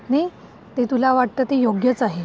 तुला वाटतं ते योग्यच आहे.